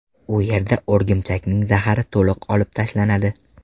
U yerda o‘rgimchakning zahari to‘liq olib tashlanadi.